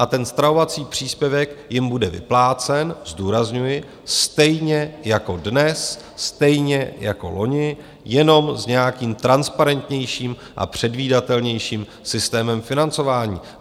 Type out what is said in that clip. A ten stravovací příspěvek jim bude vyplácen, zdůrazňuji, stejně jako dnes, stejně jako loni, jenom s nějakým transparentnějším a předvídatelnějším systémem financování.